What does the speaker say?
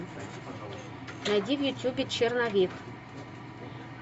найди в ютубе черновик